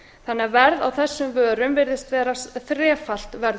þannig að verð á þessum vörum virðist vera þrefalt verð